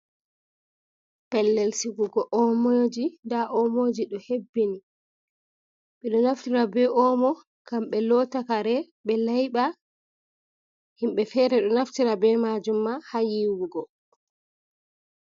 Pellel sigugo omoji nda omoji ɗo hebbini, ɓe ɗo naftira be omo ngam ɓe lotta kare, ɓe laiɓa, himɓɓe fere ɗo naftira be majum ma ha yiwugo.